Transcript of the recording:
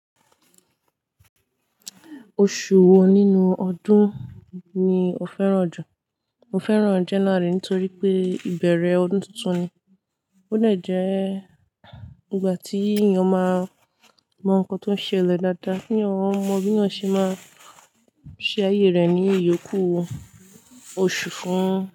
Oṣù wo nínú ọdún ni o fẹ́ràn jù? Mo fẹ́ràn January nítorí pé ìbẹ̀rẹ̀ ọdún tuntun ni, ó dè jẹ́ ìgbà tí èèyàn máa mọ nǹkan tó ń ṣe lẹ dáadáa, kí èèyàn mọ bí yàn ṣe máa ṣe ayé rẹ̀ ní ìyókù oṣù fún.